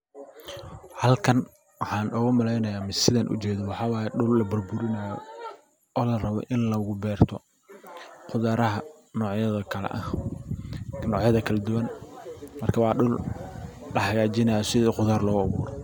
Halkan waxaan ogu malaynayna sidan u jeedo dhul laburburinayo oo larabo in lagu beerto beeraha nocyada kala ah nocyada kala duban marka waa dhul lahagajinayo sidi qudar loogu abuuro.